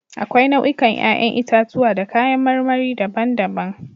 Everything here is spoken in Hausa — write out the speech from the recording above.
Akwai nau'ikan 'ƴa'ƴn itatuwa da kayan marmari daban-daban.